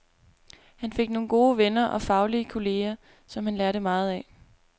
Han fik nogle gode venner og faglige kolleger, som han lærte meget af.